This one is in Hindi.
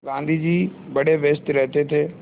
गाँधी जी बड़े व्यस्त रहते थे